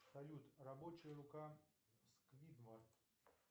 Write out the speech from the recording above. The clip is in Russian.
салют рабочая рука сквидвард